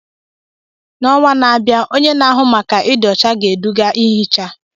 N'ọnwa na-abịa, onye na-ahụ maka ịdị ọcha ga-eduga ihicha.